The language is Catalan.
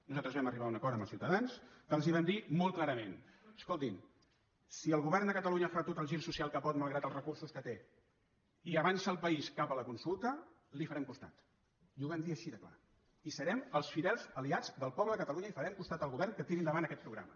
nosaltres vam arribar a un acord amb els ciutadans que els vam dir molt clarament escoltin si el govern de catalunya fa tot el gir social que pot malgrat els recursos que té i avança el país cap a la consulta li farem costat i ho vam dir així de clar i serem els fidels aliats del poble de catalunya i farem costat al govern que tiri endavant aquest programa